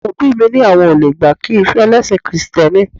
Àwọn òbí mi ni àwọn ò lè gbà kí n fẹ́ ẹlẹ́sìn kìrìtẹ́nì